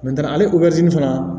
ale fana